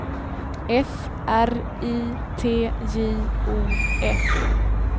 F R I T J O F